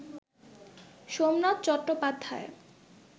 Somnath Chattopadhyay